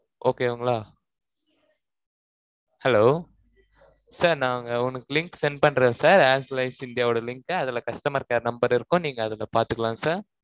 okay ங்களா hellosir நாங்க உங்களுக்ளு link send பண்றேன், sir arelines India ஓட, link அ, அதுல, customer care number இருக்கும். நீங்க, அதுல பாத்துக்கலாம், sir